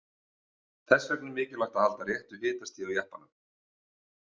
Þess vegna er mikilvægt að halda réttu hitastigi á jeppanum.